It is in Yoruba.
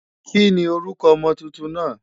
Kí ni orúkọ ọmọ tuntun náà?